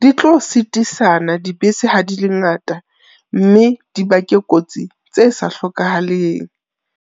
Di tlo sitisana dibese ha di le ngata mme di bake kotsi tse sa hlokahaleng.